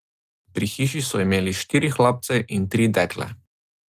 Pri hiši so imeli štiri hlapce in tri dekle.